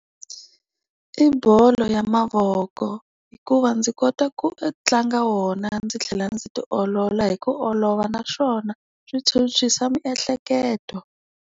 I bolo ya mavoko. Hikuva ndzi kota ku tlanga wona ndzi tlhela ndzi ti olola hi ku olova naswona, swi phyuphyisa miehleketo.